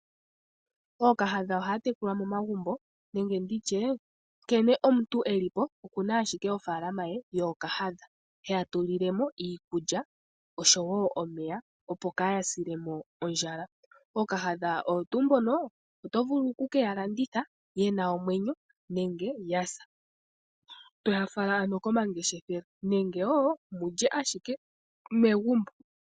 Ookahadha ohaya tekulwa momagumbo nenge omuntu nkene elipo okuna owala ofaalama ye yookahadha hedhi tulile mo iikulya oshowo omeya opo kaadhi silemo ondjala. Ookahadha oto vulu okukedhi landitha dhina omwenyo nenge dhasa. Todhi fala komangeshefelo nenge wulye megumbo.